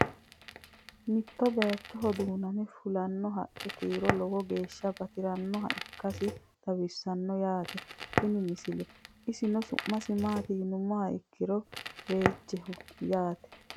Mitto bayiichcho duunnamme fulinno haqqi kiiro lowo geeshsha battirannoha ikkassi xawissanno yaatte tini misile. isihu su'misi maatti yinummoha ikkiro reejjichoho yaatte